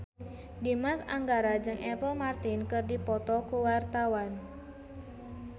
Dimas Anggara jeung Apple Martin keur dipoto ku wartawan